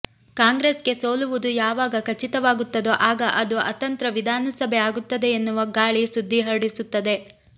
ಕಾಂಗ್ರೆಸ್ಗೆ ಸೋಲುವುದು ಯಾವಾಗ ಖಚಿತವಾಗುತ್ತದೋ ಆಗ ಅದು ಅತಂತ್ರ ವಿಧಾನಸಭೆ ಆಗುತ್ತದೆ ಎನ್ನುವ ಗಾಳಿ ಸುದ್ದಿ ಹರಡಿಸುತ್ತದೆ